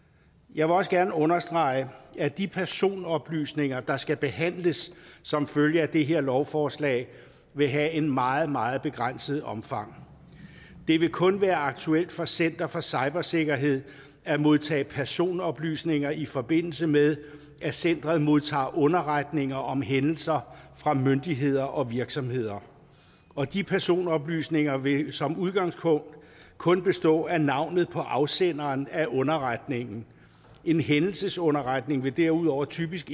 jeg vil også gerne understrege at de personoplysninger der skal behandles som følge af det her lovforslag vil have et meget meget begrænset omfang det vil kun være aktuelt for center for cybersikkerhed at modtage personoplysninger i forbindelse med at centeret modtager underretninger om hændelser fra myndigheder og virksomheder og de personoplysninger vil som udgangspunkt kun bestå af navnet på afsenderen af underretningen en hændelsesunderretning vil derudover typisk